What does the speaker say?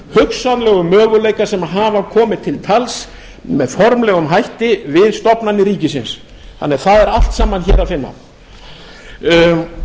hugsanlegu möguleika sem hafa komið til tals með formlegum hætti við stofnanir ríkisins þannig að það er allt saman hér að finna